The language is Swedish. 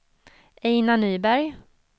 Einar Nyberg